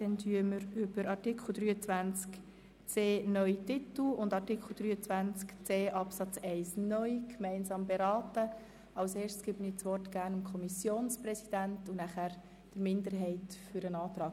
Zuerst erteile ich dem Kommissionspräsidenten das Wort, danach der Kommissionsminderheit zur Begründung ihres Antrags.